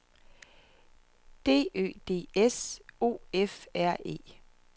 D Ø D S O F R E